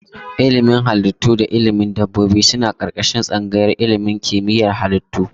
Ilimin Halittu da ilimin dabbobi suna ƙarƙashin tsangayar ilimin kimiyyar halittu.